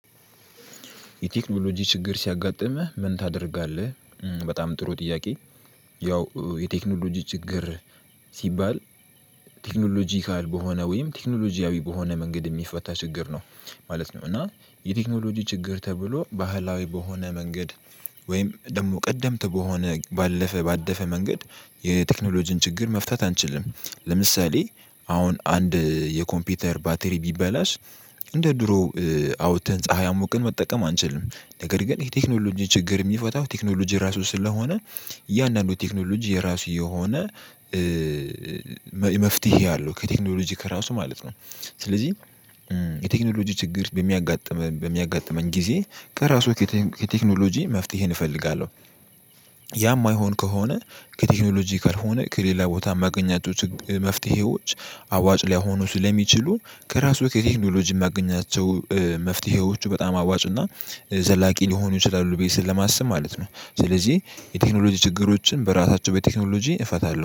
የቴክኖሎጂ ችግር ሲያጋጥምህ ምን ታደርጋለህ? በጣም ጥሩ ጥያቄ ያው የቴክኖሎጂ ችግር ሲባል ቴክኖሎጂካል በሆነ ወይም ቴክኖሎጂያዊ በሆነ መንገድ የሚፈታ ችግር ነው ማለት ነው። እና የቴክኖሎጂ ችግር ተብሎ ባህላዊ በሆነ መንገድ ወይም ደግሞ ቀደምት በሆነ ባለፈ ባደፈ መንገድ የቴክኖሎጂን ችግር መፍታት አንችልም ለምሳሌ አሁን አንድ የኮምፒውተር ባትሪ ቢበላሽ እንደ ድሮው አውጥተን ፀሀይ አሙቅን መጠቀም አንችልም ነገር ግን የቴክኖሎጂ ችግር የሚፈታው ቴክኖሎጂ ራሱ ስለሆነ። እያንዳንዱ ቴክኖሎጂ የራሱ የሆነ መፍትሄ አለው ከቴክኖሎጂ ከራሱ ማለት ነው። ስለዚህ የቴክኖሎጂ ችግር በሚያጋጥመን በሚያጋጥመን ጊዜ ከራሱ ከቴክኖሎጂ መፍትሄን እፈልጋለሁ። ያ የማይሆን ከሆነ ከቴክኖሎጂ ካልሆነ ከሌላ ቦታ ማገኛቸው መፍትሄዎች አዋጭ ሊይሆኑ ስለሚችሉ ከራሱ ከቴክኖሎጂ የማገኛቸው መፍትሄዎቹ በጣም አዋጭ እና ዘላቂ ሊሆኑ ይችላሉ ቤት ስለማስብ ማለት ነው። ስለዚህ የቴክኖሎጂ ችግሮችን በራሳቸው በቴክኖሎጂ እፈታለሁ